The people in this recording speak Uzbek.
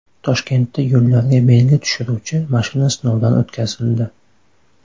Toshkentda yo‘llarga belgi tushiruvchi mashina sinovdan o‘tkazildi.